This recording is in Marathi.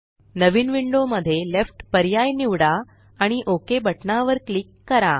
नवीन विंडो मध्ये लेफ्ट पर्याय निवडा आणि ओक बटना वर क्लिक करा